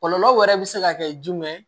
Kɔlɔlɔ wɛrɛ bɛ se ka kɛ jumɛn ye